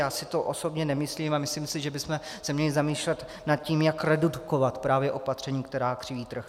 Já si to osobně nemyslím, a myslím si, že bychom se měli zamýšlet nad tím, jak redukovat právě opatření, která křiví trh.